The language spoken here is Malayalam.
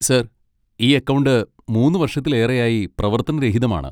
സർ, ഈ അക്കൗണ്ട് മൂന്ന് വർഷത്തിലേറെയായി പ്രവർത്തനരഹിതമാണ്.